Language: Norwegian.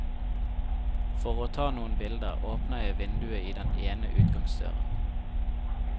For å ta noen bilder, åpner jeg vinduet i den ene utgangsdøren.